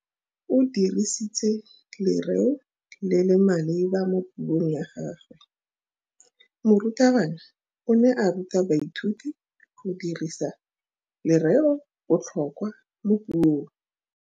O dirisitse lerêo le le maleba mo puông ya gagwe. Morutabana o ne a ruta baithuti go dirisa lêrêôbotlhôkwa mo puong.